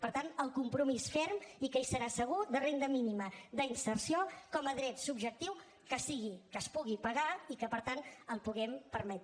per tant el compromís ferm i que hi serà segur de renda mínima d’inserció com a dret subjectiu que sigui que es pugui pagar i que per tant el puguem permetre